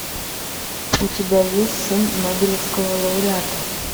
у тебя есть сын нобелевского лауреата